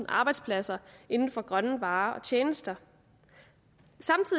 arbejdspladser inden for grønne varer og tjenester